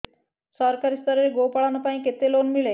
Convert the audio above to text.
ସରକାରୀ ସ୍ତରରେ ଗୋ ପାଳନ ପାଇଁ କେତେ ଲୋନ୍ ମିଳେ